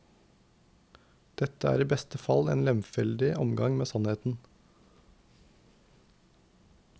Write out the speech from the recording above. Dette er i beste fall en lemfeldig omgang med sannheten.